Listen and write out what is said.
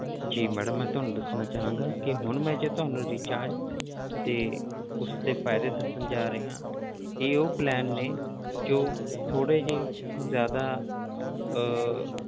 ਜੀ madam ਮੈਂ ਤੁਹਾਨੂੰ ਦੱਸਣਾ ਚਾਹਾਂਗਾ ਕਿ ਹੁਣ ਮੈਂ ਜੇ ਤੁਹਾਨੂੰ recharge ਦੇ ਉਸਦੇੇ ਫ਼ਾਇਦੇ ਦੱਸਣ ਜਾ ਰਿਹਾ ਹਾਂ ਇਹ ਉਹ plan ਨੇ ਜੋ ਥੋੜ੍ਹੇ ਜਿਹੇ ਜ਼ਿਆਦਾ ਅਹ